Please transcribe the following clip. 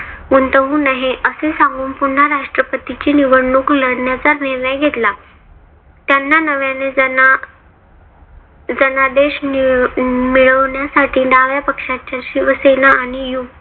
गुंतवू नये असे सांगून पुन्हा राष्ट्रपतीची निवडणूक लढण्याचा निर्णय घेतला. त्यांना नव्याने ज्यांना जनादेश मिळवण्यासाठी डाव्या पक्षाच्या शिवसेना आणि यु